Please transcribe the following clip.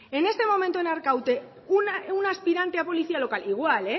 en este momento en arkaute un aspirante a policía local igual